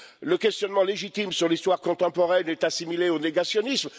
Le questionnement légitime sur l'histoire contemporaine est assimilé au négationnisme.